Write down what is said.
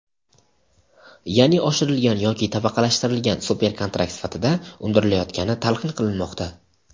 yaʼni oshirilgan yoki tabaqalashtirilgan (super) kontrakt sifatida undirilayotgani talqin qilinmoqda.